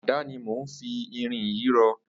Àdá ni mó n fi irin yi rọ